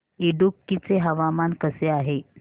इडुक्की चे हवामान कसे आहे